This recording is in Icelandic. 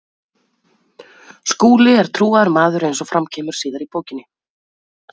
Skúli er trúaður maður eins og fram kemur síðar í bókinni.